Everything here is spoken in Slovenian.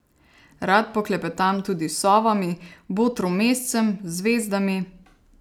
Rad poklepetam tudi s sovami, botrom mescem, zvezdami...